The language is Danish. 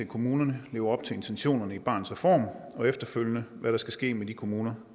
kommunerne lever op til intentionerne i barnets reform og efterfølgende hvad der skal ske med de kommuner